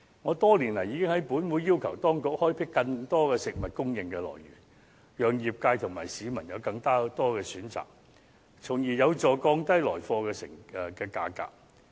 我多年來已在本會要求當局開闢更多食物供應來源，讓業界和市民有更多選擇，從而有助降低來貨的價格。